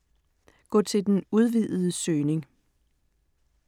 Gå til den udvidede søgning